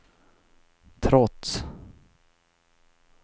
trots